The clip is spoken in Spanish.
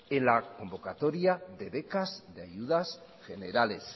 en la convocatoria de becas de ayudas generales